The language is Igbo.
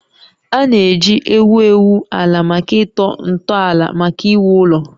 A na-eji egwu egwu egwu ala maka ịtọ ntọala maka iwu ụlọ